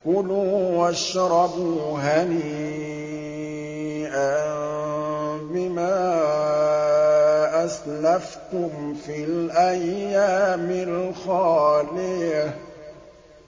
كُلُوا وَاشْرَبُوا هَنِيئًا بِمَا أَسْلَفْتُمْ فِي الْأَيَّامِ الْخَالِيَةِ